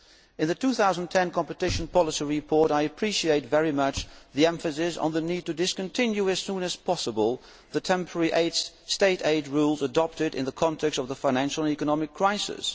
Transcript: In the 2010 competition policy report I appreciate very much the emphasis on the need to discontinue as soon as possible the temporary state aid rules adopted in the context of the financial and economic crisis.